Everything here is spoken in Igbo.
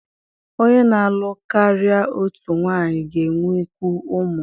Onye na-alụ karịa otu nwanyị ga-enwekwu ụmụ.